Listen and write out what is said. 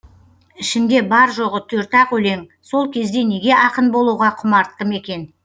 ішінде бар жоғы төрт ақ өлең сол кезде неге ақын болуға құмарттым екен